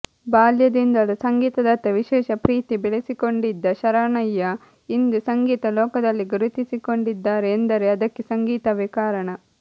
ಬಾಲ್ಯದಿಂದಲೂ ಸಂಗೀತದತ್ತ ವಿಶೇಷ ಪ್ರೀತಿ ಬೆಳೆಸಿಕೊಂಡಿದ್ದ ಶರಣ್ಯಾ ಇಂದು ಸಂಗೀತ ಲೋಕದಲ್ಲಿ ಗುರುತಿಸಿಕೊಂಡಿದ್ದಾರೆ ಎಂದರೆ ಅದಕ್ಕೆ ಸಂಗೀತವೇ ಕಾರಣ